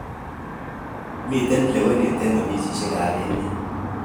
Mitei lewenet eng ofisishek ab emet.